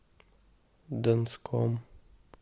донском